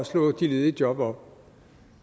slå de ledige job op